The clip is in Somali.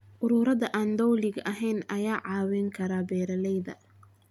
Ururada aan dowliga ahayn ayaa caawin kara beeralayda.